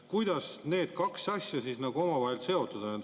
Kuidas need kaks asja omavahel seotud on?